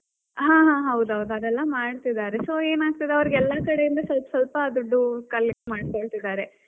ಹಾ, ಹಾ ಹೌದೌದು ಅದೆಲ್ಲಾ ಮಾಡ್ತಿದ್ದಾರೆ, so ಏನಾಗ್ತದೆ ಅಂದ್ರೆ ಅವರಿಗೆ ಎಲ್ಲಾ ಕಡೆಯಿಂದ ಸ್ವಲ್ಪ ಸ್ವಲ್ಪ ದುಡ್ಡುcollect ಮಾಡ್ಕೋಳ್ತಿದಾರೆ.